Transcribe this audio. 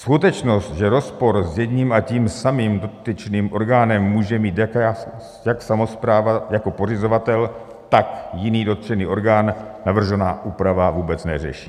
Skutečnost, že rozpor s jedním a tím samým dotyčným orgánem může mít jak samospráva jako pořizovatel, tak jiný dotčený orgán, navržená úprava vůbec neřeší.